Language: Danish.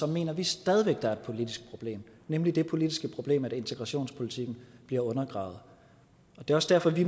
mener vi stadig væk at der er et politisk problem nemlig det politiske problem at integrationspolitikken bliver undergravet det er også derfor at vi